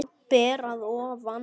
Ber að ofan.